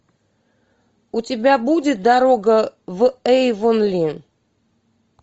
у тебя будет дорога в эйвонли